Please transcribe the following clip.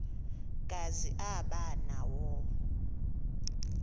kazi aba nawo